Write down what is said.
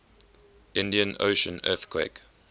indian ocean earthquake